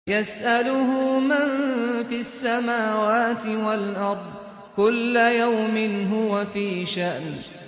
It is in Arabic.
يَسْأَلُهُ مَن فِي السَّمَاوَاتِ وَالْأَرْضِ ۚ كُلَّ يَوْمٍ هُوَ فِي شَأْنٍ